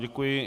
Děkuji.